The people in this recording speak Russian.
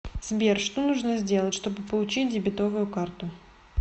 сбер что нужно сделать чтобы получить дебитовую карту